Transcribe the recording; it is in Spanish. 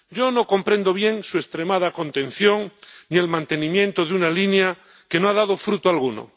Yo no comprendo bien su extremada contención y el mantenimiento de una línea que no ha dado fruto alguno.